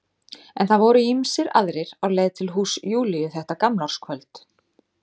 En það voru ýmsir aðrir á leið til húss Júlíu þetta gamlárskvöld.